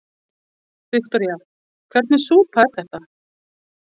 Viktoría: Hvernig súpa er þetta?